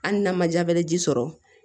Hali n'a ma jabɛti sɔrɔ